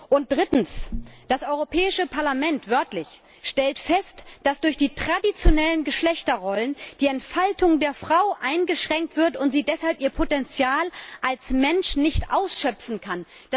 Und drittens Das Europäische Parlament wörtlich stellt fest, dass durch die traditionellen Geschlechterrollen die Entfaltung der Frau eingeschränkt wird und sie deshalb ihr Potenzial als Mensch nicht ausschöpfen kann.